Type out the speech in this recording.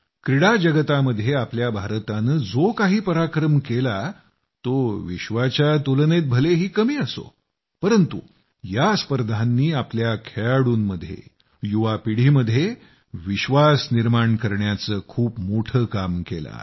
क्रीडा जगतामध्ये आपल्या भारतानं जो काही पराक्रम केला तो विश्वाच्या तुलनेत भलेही कमी असो परंतु या स्पर्धांनी आपल्या खेळाडूंमध्ये युवापिढीमध्ये विश्वास निर्माण करण्याचं खूप मोठं काम केलं आहे